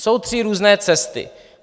Jsou tři různé cesty.